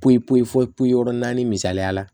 Pip yɔrɔ naani misaliya la